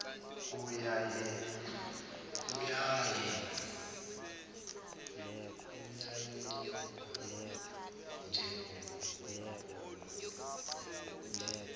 kuyanyelela njengokubola komuthi